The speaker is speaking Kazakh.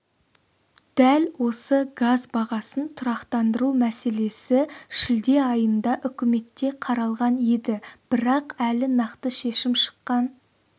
дәл осы газ бағасын тұрақтандыру мәселесі шілде айында үкіметте қаралған еді бірақ әлі нақты шешім шыққан